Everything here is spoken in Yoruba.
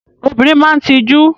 Obìnrin máa ń tijú.